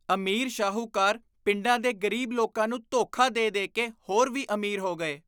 ਅਮੀਰ ਸ਼ਾਹੂਕਾਰ ਪਿੰਡਾਂ ਦੇ ਗ਼ਰੀਬ ਲੋਕਾਂ ਨੂੰ ਧੋਖਾ ਦੇ ਦੇ ਕੇ ਹੋਰ ਵੀ ਅਮੀਰ ਹੋ ਗਏ